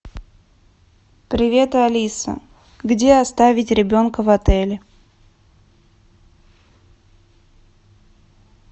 привет алиса где оставить ребенка в отеле